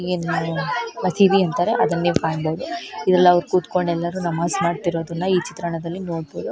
ಏನ್ ಹೇಳೋಣ ಹಸಿವೆ ಅಂತರೆ ಅದನ್ನೆ ಕಾಣಬಹುದು ಎಲ್ಲಾರು ಕೂತಕೊಂಡ ಎಲ್ಲಾರು ನಮಾಜ್ ಮಾಡತ್ತಿರೋದ್ನ್ ಈ ಚಿತ್ರಣದಲ್ಲಿ ನೋಡಬಹುದು.